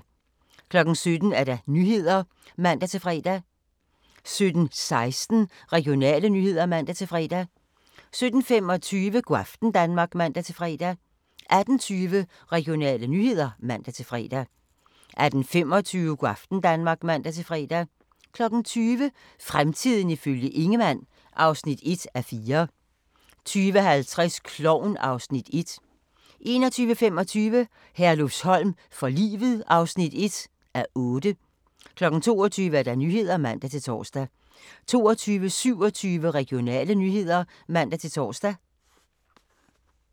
17:00: Nyhederne (man-fre) 17:16: Regionale nyheder (man-fre) 17:25: Go' aften Danmark (man-fre) 18:20: Regionale nyheder (man-fre) 18:25: Go' aften Danmark (man-fre) 20:00: Fremtiden ifølge Ingemann (1:4) 20:50: Klovn (Afs. 1) 21:25: Herlufsholm for livet (1:8) 22:00: Nyhederne (man-tor) 22:27: Regionale nyheder (man-tor)